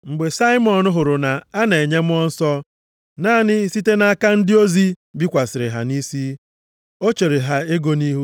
Mgbe Saimọn hụrụ na a na-enye Mmụọ Nsọ naanị site nʼaka ndị ozi bikwasịrị ha nʼisi, o chere ha ego nʼihu,